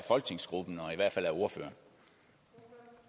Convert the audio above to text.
folketingsgruppen og